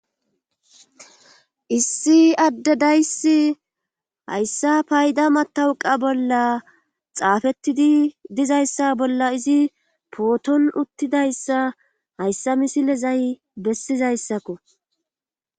issi adde dayssi hayssa payda matawuqa bolla xaafettidi dizayssa bolla izi pooton uttidayssa hayssa misilezay bessizayssakko